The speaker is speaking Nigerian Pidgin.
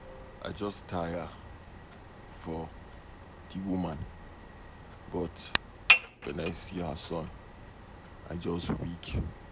I just tire for the woman but when I see her son I just weak.